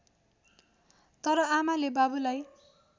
तर आमाले बाबुलाई